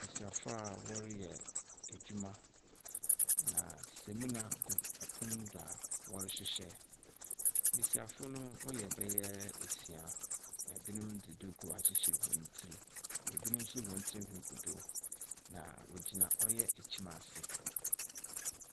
Mmesiafo a wɔreyɛ edwuma, na samena gu pon do a wɔrehyehyɛ. Mmesiafo no wɔyɛ bɛyɛ esia. Ebinom de duku akyekyer hɔn ti. Ebinom nso hɔn tirinwi gu do, na wɔgyina ɔyɛ ekyim ase.